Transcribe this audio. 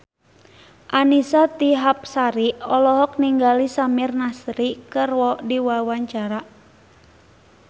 Annisa Trihapsari olohok ningali Samir Nasri keur diwawancara